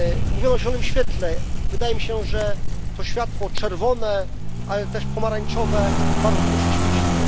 Mówiono o zielonym świetle, wydaje mi się, że to światło czerwone, ale też pomarańczowe bardzo długo się świeciło.